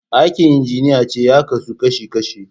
Aikin injiniyanci ya kasu kashi kashi.